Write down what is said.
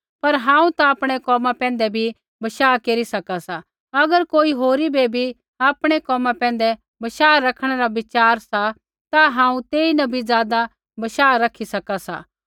पर हांऊँ ता आपणै कोमा पैंधै भी बशाह केरी सका सा अगर कोई होरी बै भी आपणै कोमा पैंधै बशाह रखणै रा विचार सा ता हांऊँ तेईन भी ज़ादा बशाह रखी सका सा